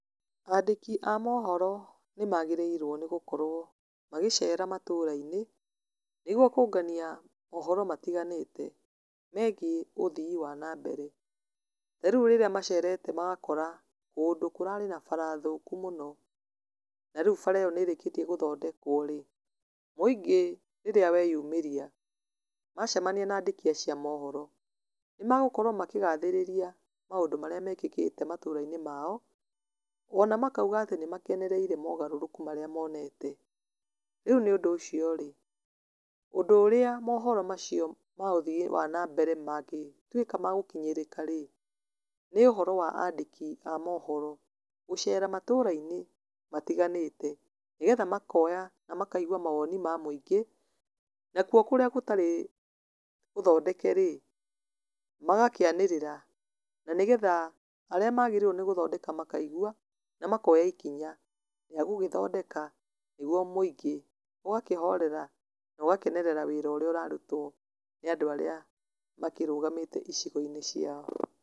Andĩki a mohoro nĩmagĩrĩirwo nĩgũkorwo magĩcera matũra-inĩ, nĩguo kũngania mohoro matiganĩte megiĩ ũthii wa na mbere, ta rĩu rĩrĩa macerete magakora, kũndũ kũrarĩ na bara thũku mũno, na rĩu bara ĩyo nĩrĩkĩtie gũthondekwo rĩ, mũingĩ rĩrĩa weyumĩria, macemania na andĩki acio a mohoro, nĩmagũkorwo makĩgathĩrĩria maũndũ marĩa mekĩkĩte matũra-inĩ mao, na makauga atĩ nĩmakenereire mogarũrũku marĩa monete, rĩu nĩ ũndũ ũcio rĩ, ũndũ ũrĩa mohoro macio ma ũthii wa nambere mangĩtuĩka magũkinyĩrĩka rĩ, nĩ ũhoro wa andĩki a mohoro gũcera matũra-inĩ matiganĩte, nĩgetha makoya na makaigua mawoni ma mũingĩ, nakuo kũrĩa gũtarĩ gũthondeke rĩ, magakĩanĩrĩra, na nĩgetha arĩa magĩrĩirwo nĩ gũthondeka makaigua na makoya ikinya rĩa gũgĩthondeka, nĩguo mũingĩ ũgakĩhorera, nogakenerera wĩra ũrĩa ũrarutwo nĩ andũ arĩa makĩrũgamĩte icigo-inĩ ciao.